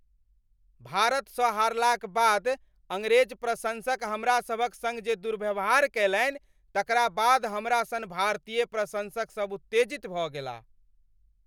भारतसँ हारलाक बाद अङ्ग्रेज प्रशंसक हमरा सभक सङ्ग जे दुर्व्यवहार कयलनि तकरा बाद हमरा सन भारतीय प्रशंसक सभ उत्तेजित भऽ गेलाह।